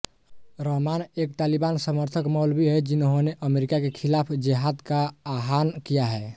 रहमान एक तालिबान समर्थक मौलवी हैं जिन्होंने अमेरिका के खिलाफ़ जेहाद का आह्वान किया है